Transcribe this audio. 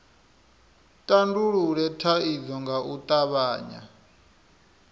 tandulule thaidzo nga u tavhanya